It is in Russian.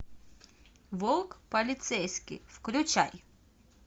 волк полицейский включай